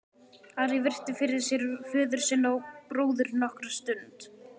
Ari virti fyrir sér föður sinn og bróður nokkra stund.